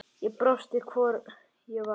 Ég brosti, hvort ég var!